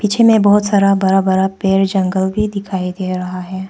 पीछे में बहुत सारा बड़ा बड़ा पेड़ जंगल भी दिखाई दे रहा है।